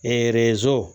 Ee so